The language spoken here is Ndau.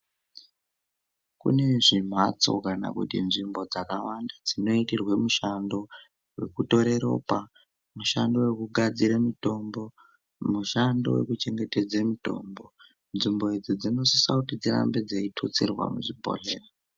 Kune zvimhatso kana kuti nzvimbo dzakawanda dzinoitirwe mishando wekutore ropa mishando wekugadzira mitombo mishando wekuchengetedza mitombo nzvimbo idzi dzinosisa kuti dzirambe dzeitutsirwa muzvibhohleya.